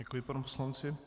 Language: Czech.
Děkuji panu poslanci.